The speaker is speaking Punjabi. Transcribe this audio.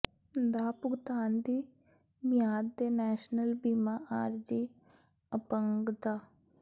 ਦਾ ਭੁਗਤਾਨ ਦੀ ਮਿਆਦ ਦੇ ਨੈਸ਼ਨਲ ਬੀਮਾ ਆਰਜ਼ੀ ਅਪੰਗਤਾ